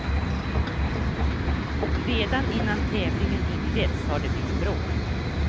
Redan innan tävlingen inletts har det blivit bråk.